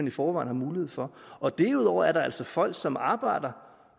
i forvejen har mulighed for derudover er der altså folk som arbejder